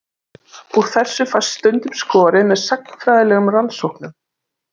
Úr þessu fæst stundum skorið með sagnfræðilegum rannsóknum.